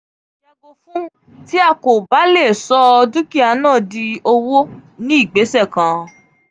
yago fun ti a ko ba le so dukia na di owo ni igbese kan.